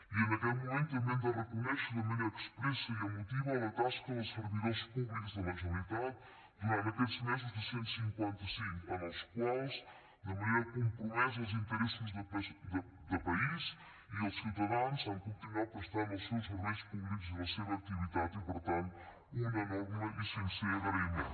i en aquest moment també hem de reconèixer de manera expressa i emotiva la tasca dels servidors públics de la generalitat durant aquests mesos de cent i cinquanta cinc en els quals de manera compromesa amb els interessos de país i els ciutadans han continuat prestant els seus serveis públics i la seva activitat i per tant un enorme i sincer agraïment